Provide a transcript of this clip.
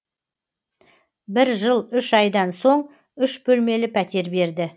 бір жыл үш айдан соң үш бөлмелі пәтер берді